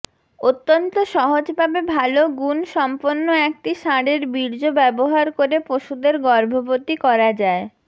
অত্যন্ত সহজভাবে ভাল গুণ সম্পন্ন একটি ষাঁড়ের বীর্য ব্যবহার করে পশুদের গর্ভবতী করা যায়